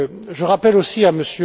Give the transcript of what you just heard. Je rappelle aussi